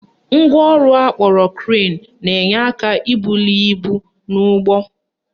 Ngwaọrụ akpọrọ crane na-enye aka ibuli ibu n'ụgbọ